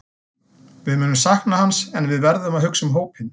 Við munum sakna hans en við verðum að hugsa um hópinn.